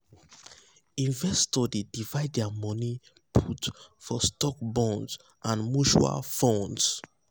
investors dey divide their money put put for stocks bonds and mutual funds.